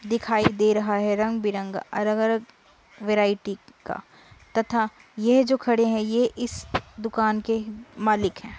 दिखाई दे रहा है रंग-बिरंगा अरग अरग वेराइटी का तथा ये जो खड़े है ये इस दुकान के मालिक है।